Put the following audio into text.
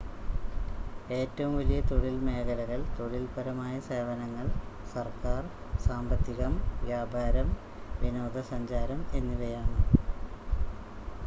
ഏറ്റവും വലിയ തൊഴിൽ മേഖലകൾ തൊഴിൽപരമായ സേവനങ്ങൾ സർക്കാർ സാമ്പത്തികം വ്യാപാരം വിനോദസഞ്ചാരം എന്നിവയാണ്